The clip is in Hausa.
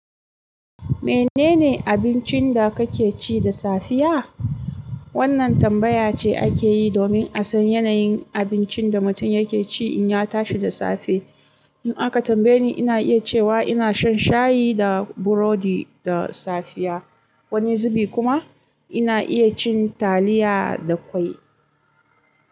Menene abincin da kake ci da safiya? Wannan tambaya ce ake yi domin a san yanayin abincin da mutum yake ci in ya tashi da safe. In aka tambaye ni, ina iya cewa ina shan shayi da burodi da safiya. Wani zubi kuma ina iya cin taliya da kwai.